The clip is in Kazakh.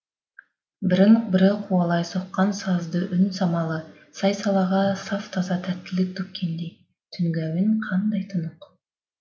бірін бірі қуалай соққан сазды үн самалы сай салаға саф таза тәттілік төккендей түнгі әуен қандай тұнық